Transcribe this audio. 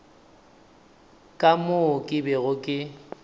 ka moo ke bego ke